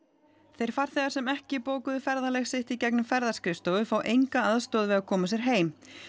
þeir farþegar sem ekki bókuðu ferðalag sitt í gegnum ferðaskrifstofu fá enga aðstoð við að koma sér heim